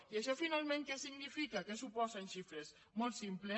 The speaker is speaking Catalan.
i això finalment què significa què suposa en xifres molt simple